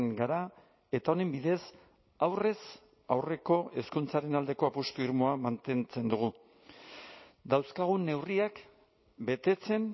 gara eta honen bidez aurrez aurreko hezkuntzaren aldeko apustu irmoa mantentzen dugu dauzkagun neurriak betetzen